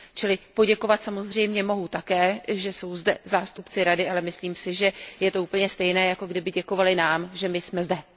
Čili poděkovat samozřejmě mohu také, že jsou zde zástupci Rady, ale myslím si, že je to úplně stejné, jako kdyby děkovali nám, že my jsme zde.